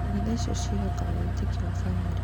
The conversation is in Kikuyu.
Mitha icio ciĩhokaga wĩtĩkio wa bamĩrĩ.